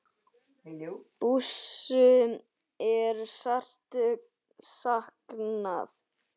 Bússu er sárt saknað.